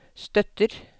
støtter